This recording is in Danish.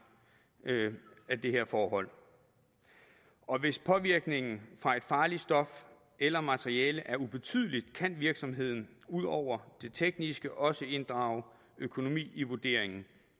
af de her forhold og hvis påvirkningen fra et farligt stof eller materiale er ubetydeligt kan virksomheden ud over det tekniske også inddrage økonomi i vurderingen